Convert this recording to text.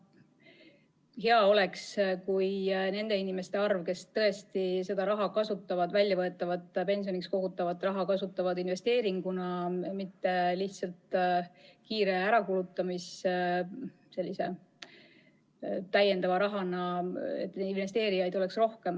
Hea oleks, kui neid inimesi, kes tõesti kasutavad seda väljavõetavat pensioniks kogutud raha investeeringuna, mitte lihtsalt kiire ärakulutamise vahendina, lisarahana, oleks rohkem.